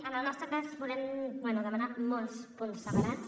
en el nostre cas volem bé demanar molts punts separats